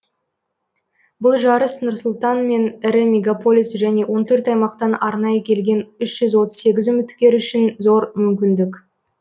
бұлжарыс нұрсұлтан мен ірі мегаполис және он төрт аймақтан арнайы келген үш жүз отыз сегіз үміткер үшін зор мүмкіндік